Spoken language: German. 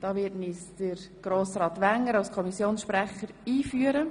Dazu wird uns der Kommissionspräsident Grossrat Wenger einführen.